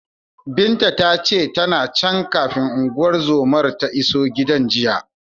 Binta ta ce, tana can, kafin unguwar zomar ta isa gidan jiya.